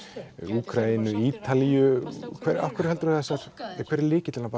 Úkraínu Ítalíu af hverju heldurðu að þessar hver er lykillinn á